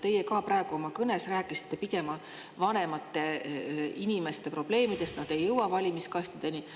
Teie ka praegu oma kõnes rääkisite pigem vanemate inimeste probleemidest, nad ei jõua valimiskastideni.